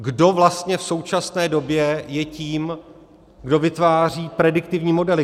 Kdo vlastně v současné době je tím, kdo vytváří prediktivní modely.